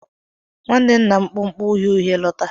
Nwanne nna m kpu okpu uhie uhie lọta.